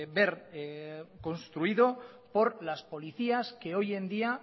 ver construido por las policías que hoy en día